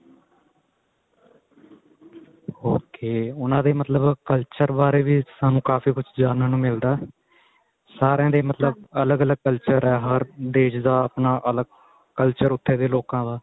ok ਉਹਨਾ ਦੇ ਮਤਲਬ culture ਬਾਰੇ ਵੀ ਸਾਨੂੰ ਕਾਫੀ ਕੁੱਝ ਜਾਣਨ ਨੂੰ ਮਿਲਦਾ ਸਾਰੀਆਂ ਦੇ ਮਤਲਬ ਅੱਲਗ ਅੱਲਗ culture ਏ ਹਰ ਦੇਸ਼ ਦਾ ਆਪਣਾ ਅੱਲਗ culture ਉੱਥੇ ਦੇ ਲੋਕਾ ਦਾ